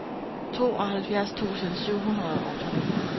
tooghalvfjerds tusind syv hundrede og to